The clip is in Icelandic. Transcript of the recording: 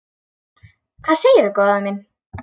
Hvað segirðu góða mín?